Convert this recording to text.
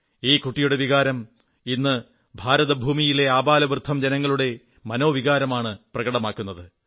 ഈ കുട്ടിയുടെ വികാരം ഇന്ന് ഭാരതഭൂമിയിലെ ആബാലവൃദ്ധം ജനങ്ങളുടെ മനോവികാരമാണു പ്രകടമാക്കുന്നത്